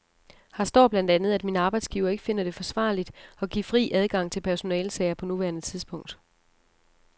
Her står blandt andet, at min arbejdsgiver ikke finder det forsvarligt at give fri adgang til personalesager på nuværende tidspunkt.